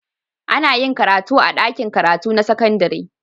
Ana yin karatu a dakin karatu na sakandari